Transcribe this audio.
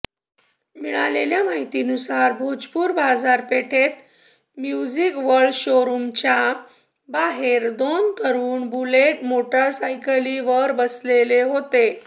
मिळालेल्या माहितीनुसार भोजपूर बाजारपेठेत म्युझिक वर्ल्ड शोरूमच्या बाहेर दोन तरुण बुलेट मोटारसायकलींवर बसले होते